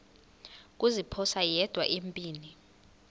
kuziphosa yedwa empini